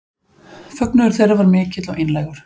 Fögnuður þeirra var mikill og einlægur